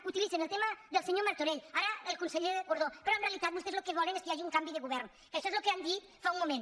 utilitzen el tema del senyor martorell ara el conseller gordó però en realitat vostès lo que volen és que hi hagi un canvi de govern que això és el que han dit fa un mo·ment